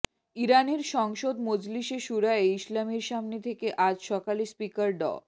ইরানের সংসদ মজলিশে শুরায়ে ইসলামির সামনে থেকে আজ সকালে স্পিকার ড